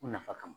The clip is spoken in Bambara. U nafa kama